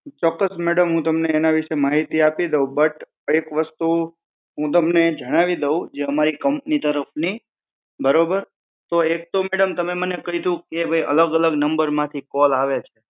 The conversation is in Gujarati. ચોક્કસ મેડમ હું તમને એના વિષે માહિતી આપી દઉં બટ એક વસ્તુ હું તમને જણાવી દઉં જે હમારી કમ્પની તરફની બરોબર. તો એક તો મેડમ તમે મને કીધું કે ભઈ અલગ અલગ નંબર માં થી કોલ આવે છે